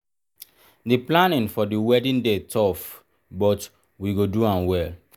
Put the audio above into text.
the planning for the wedding dey tough but we go do am well.